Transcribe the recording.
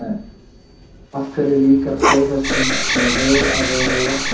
Af hverju líkar flóðhestum svona vel að vera í vatni?